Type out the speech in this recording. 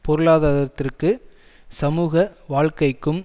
பொருளாதாரத்திற்கு சமூக வாழ்க்கைக்கும்